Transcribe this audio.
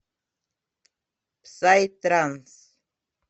псай транс